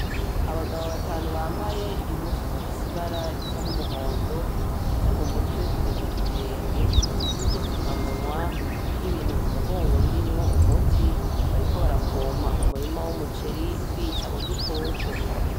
Abagabo batanu bambaye impuzu zifese ibara risa n'umuhondo zifutse mu mutwe kugeza kubirenge; n'udufuka munwa; n'ibintu ku mugongo birimwo umuti bariko barapompa umurima w'umuceri bica udukoko.